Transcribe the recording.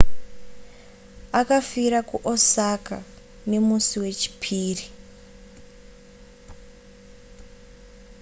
akafira kuosaka nemusi wechipiri